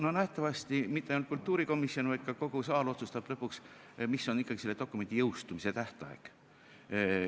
No nähtavasti mitte ainult kultuurikomisjon, vaid ka kogu saal otsustab lõpuks, mis on ikkagi selle dokumendi jõustumise tähtaeg.